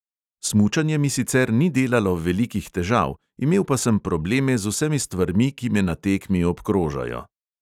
Smučanje mi sicer ni delalo velikih težav, imel pa sem probleme z vsemi stvarmi, ki me na tekmi obkrožajo.